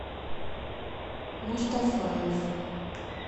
мустафаев